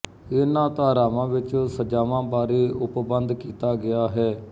ਇਹਨਾਂ ਧਾਰਾਵਾਂ ਵਿੱਚ ਸਜਾਵਾਂ ਬਾਰੇ ਉਪਬੰਧ ਕੀਤਾ ਗਿਆ ਹੈ